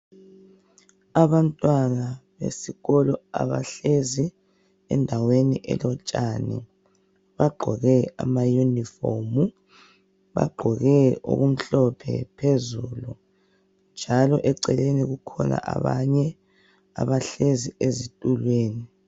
Abantwana besikolo abahlezi endaweni elotshani bagqoke amayunifomu. Bagqoke okumhlophe phezulu njalo eceleni kukhona abanye abahlezi ezitulweni.